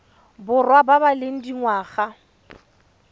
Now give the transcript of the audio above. borwa ba ba leng dingwaga